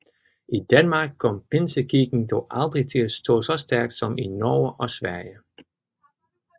I Danmark kom Pinsekirken dog aldrig til at stå så stærkt som i Norge og Sverige